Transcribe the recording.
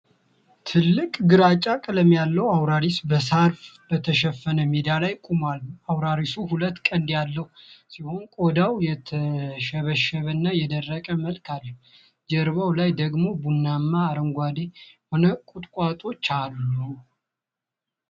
ትልቁና ግራጫ ቀለም ያለው አውራሪስ በሳር በተሸፈነ ሜዳ ላይ ቆሟል። አውራሪሱ ሁለት ቀንድ ያለው ሲሆን፣ ቆዳው የተሸበሸበና የደረቀ መልክ አለው። ጀርባው ላይ ደግሞ ቡናማና አረንጓዴ የሆኑ ቁጥቋጦዎች አሉ።